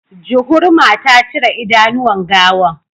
Juhurma ta cire idanuwan gawan